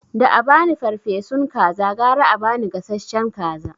Da abani farfesun kaza gara a ba ni gasashshen kaza